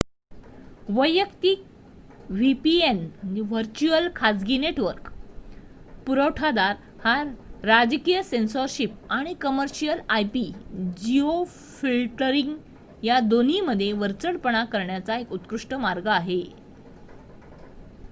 वैयक्तिक vpn virtual खाजगी network पुरवठादार हा राजकीय सेन्सॉरशिप आणि कमर्शियल ip-जिओफिल्टरिंग या दोन्हींमध्ये वरचढपणा करण्याचा एक उत्कृष्ट मार्ग आहे